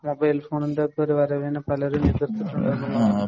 Mobile‍ ഫോണിന്‍റെ ഒക്കെ വരവിനെ പലരും എതിര്‍ത്തിട്ടുണ്ട് എന്നുള്ളതാണ്.